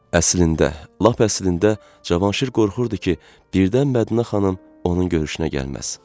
Əslində, lap əslində Cavanşir qorxurdu ki, birdən Mədinə xanım onun görüşünə gəlməz.